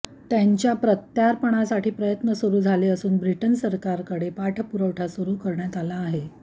त्यांच्या प्रत्यापर्णासाठी प्रयत्न सुरू झाले असून ब्रिटन सरकारकडे पाठपुरवठा सुरू करण्यात आला आहे